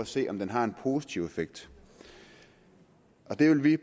se om den har en positiv effekt der vil vi i